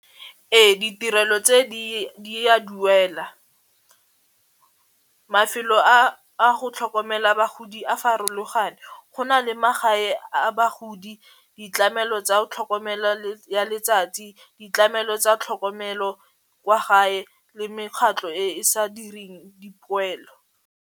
Ee ditirelo tse di a duela, mafelo a a go tlhokomela bagodi a farologane, go na le magae a bagodi, ditlamelo tsa tlhokomelo ya letsatsi ditlamelo tsa tlhokomelo kwa gae le mekgatlo e e sa direng dipoelo.